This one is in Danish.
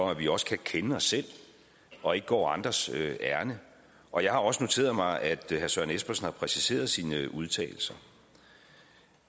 at vi også kan kende os selv og ikke går andres ærinde og jeg har også noteret mig at herre søren espersen har præciseret sine udtalelser